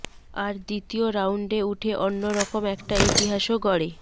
আর দ্বিতীয় রাউন্ডে উঠে অন্য রকম একটা ইতিহাসও গড়ে